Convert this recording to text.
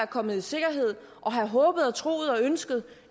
kommet i sikkerhed og have håbet og troet og ønsket